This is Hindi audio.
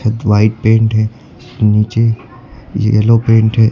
ये तो वाइट पेंट है नीचे ये येलो पेंट है।